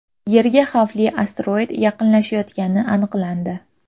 Yerga xavfli asteroid yaqinlashayotgani aniqlandi.